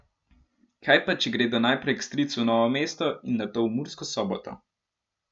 Kaj pa, če gredo najprej k stricu v Novo mesto in nato v Mursko Soboto?